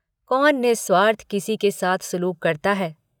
कौन निःस्वार्थ किसी के साथ सलूक करता है।